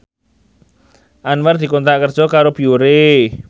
Anwar dikontrak kerja karo Biore